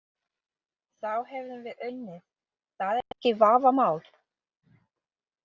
Þá hefðum við unnið, það er ekki vafamál.